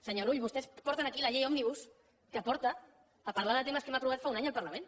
senyor rull vostès porten aquí la llei òmnibus que porta a parlar de temes que hem aprovat fa un any al parlament